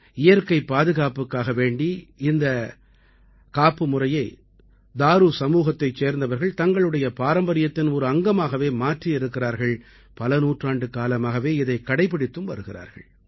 இயற்கைப் பாதுகாப்புக்காக வேண்டி இந்தக் காப்புமுறையை தாரு சமூகத்தைச் சேர்ந்தவர்கள் தங்களுடைய பாரம்பரியத்தின் ஒரு அங்கமாகவே மாற்றி இருக்கிறார்கள் பல நூற்றாண்டுக்காலமாகவே இதைக் கடைப்பிடித்து வருகிறார்கள்